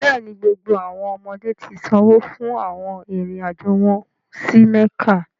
Bẹẹni, gbogbo awọn ọmọde ti sanwo fun awọn irin-ajo wọn si Mekka.